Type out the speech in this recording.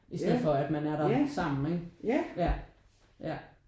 I stedet for at man er der sammen ikke ja ja